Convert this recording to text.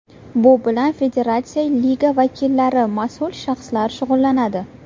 Bu bilan federatsiya, liga vakillari, mas’ul shaxslar shug‘ullanadi.